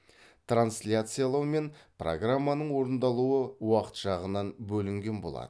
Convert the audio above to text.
трансляциялау мен программаның орындалуы уақыт жағынан бөлінген болады